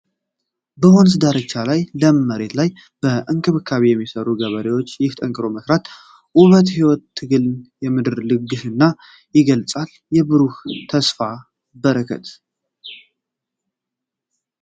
በወንዝ ዳርቻ ላይ ለም መሬት ላይ በእንክብካቤ የሚሰሩ ገበሬዎች! ይህ ጠንክሮ የመስራት ውበት የሕይወትን ትግልና የምድርን ልግስና ይገልጻል። የብሩህ ተስፋና በረከት!